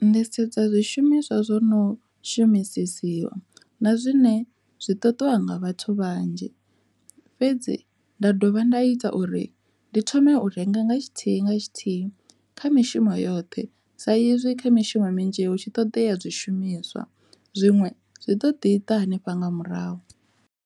Ndi sedza zwishumiswa zwo no shumisesiwa na zwine zwi ṱuṱuwa nga vhathu vhanzhi fhedzi nda dovha nda ita uri ndi u renga nga tshithihi nga tshithihi kha mishumo yoṱhe sa izwi kha mishumo minzhi hu tshi ṱoḓea zwishumiswa zwiṅwe zwi ḓo ḓi ḓa hanefha nga murahu.